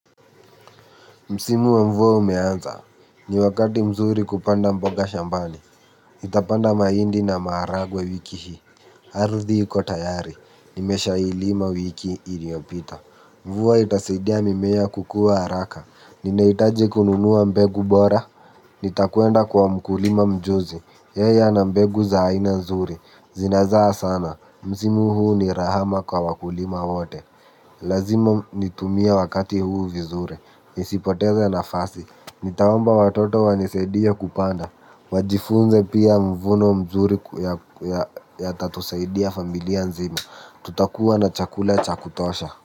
Msimu wa mvua umeanza, ni wakati mzuri wa kupanda mboga shambani nitapanda mahindi na maharagwe wiki hii ardhi iko tayari, nimesha ilima wiki iliyopita. Mvua itasaidia mimea kukua haraka ninahitaji kununua mbegu bora nitakwenda kwa mkulima mjuzi yeye ana mbegu za aina nzuri zinazaa sana msimu huu ni rahama kwa wakulima wote, lazima nitumie wakati huu vizuri nisipoteze nafasi nitaomba watoto wanisaidia kupanda wajifunze pia mvuno mzuri yatatusaidia familia nzima tutakuwa na chakula cha kutosha.